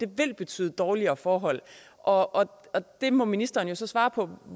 betyde dårligere forhold og det må ministeren så svare på